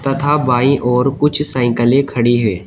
तथा बाइं और कुछ साइकिलें खड़ी हैं।